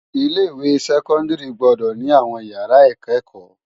Ilé iwé sèkòndári gbòdò ni áwòn iyàrá ikëkò